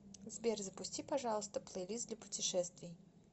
сбер запусти пожалуйста плейлист для путешествий